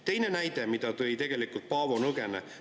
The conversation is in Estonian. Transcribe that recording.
Teine näide, mille tõi tegelikult Paavo Nõgene.